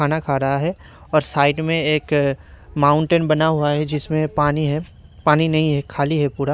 खाना खा रहा है और साइड में एक माउंटेन बना हुआ है जिसमें पानी है पानी नहीं है खाली है पूरा --